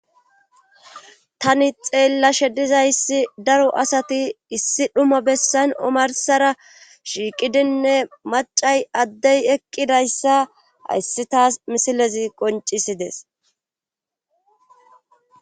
Tani xeella she dizayssi daro asati issi dhuma bessan omarsara shiiqidinne macay addey eqqidayssa hayssi taas misilezi qoncisides.